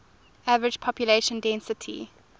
average population density